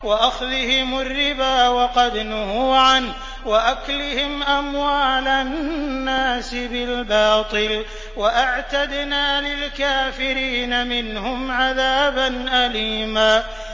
وَأَخْذِهِمُ الرِّبَا وَقَدْ نُهُوا عَنْهُ وَأَكْلِهِمْ أَمْوَالَ النَّاسِ بِالْبَاطِلِ ۚ وَأَعْتَدْنَا لِلْكَافِرِينَ مِنْهُمْ عَذَابًا أَلِيمًا